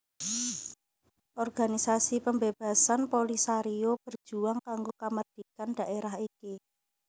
Organisasi pembebasan Polisario berjuang kanggo kamardikan dhaérah iki